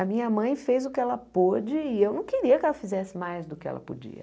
A minha mãe fez o que ela pôde e eu não queria que ela fizesse mais do que ela podia.